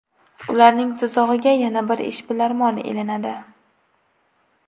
Ularning tuzog‘iga yana bir ishbilarmon ilinadi.